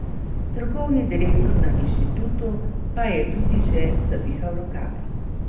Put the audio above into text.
Strokovni direktor na inštitutu pa je tudi že zavihal rokave.